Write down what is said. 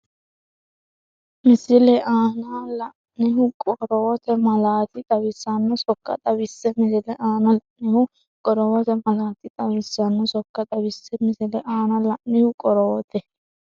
Misile aana la’inihu qorowote malaati xawisanno sokka xawisse Misile aana la’inihu qorowote malaati xawisanno sokka xawisse Misile aana la’inihu qorowote.